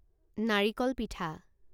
নাৰিকল পিঠা